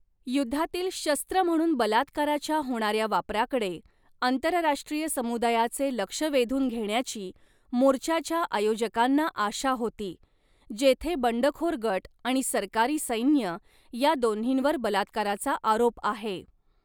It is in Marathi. युद्धातील शस्त्र म्हणून बलात्काराच्या होणाऱ्या वापराकडे आंतरराष्ट्रीय समुदायाचे लक्ष वेधून घेण्याची मोर्चाच्या आयोजकांना आशा होती, जेथे बंडखोर गट आणि सरकारी सैन्य या दोन्हींवर बलात्काराचा आरोप आहे.